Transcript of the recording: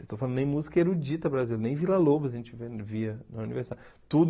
Estou falando nem música erudita brasileira, nem Vila Lobos a gente via via na universidade. Tudo